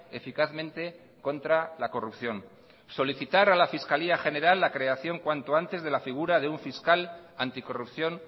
eficazmente contra la corrupción solicitar a la fiscalía general la creación cuanto antes de la figura de un fiscal anticorrupción